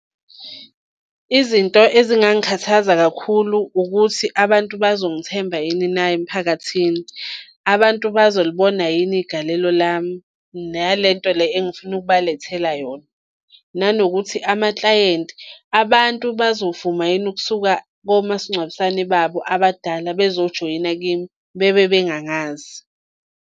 Izinto ezingangikhathaza kakhulu ukuthi abantu bazongithemba yini na emiphakathini? Abantu bazolibona yini igalelo lami? Nale nto le engfuna ukubalethela yona. Nanokuthi amaklayenti abantu bazovuma yini ukusuka komasingcwabisane babo abadala bezojoyina kimi, bebe bengangazi?